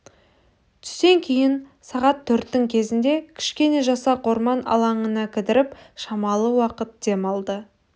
түстен кейін сағат төрттің кезінде кішкене жасақ орман алаңына кідіріп шамалы уақыт дем алды